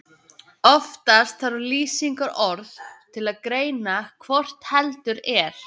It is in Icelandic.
Oftast þarf lýsingarorð til að greina hvort heldur er.